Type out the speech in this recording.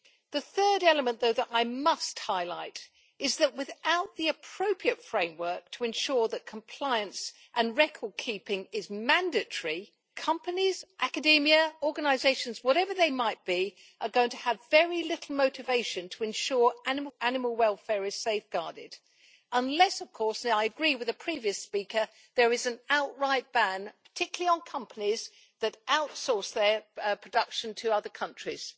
The third element, though, that I must highlight is that without the appropriate framework to ensure that compliance and record keeping is mandatory, companies, academia, organisations, whatever they might be, are going to have very little motivation to ensure animal welfare is safeguarded unless, of course and I agree with the previous speaker there is an outright ban, particularly on companies that outsource their production to other countries.